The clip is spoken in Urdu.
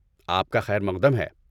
آپ کا خیر مقدم ہے۔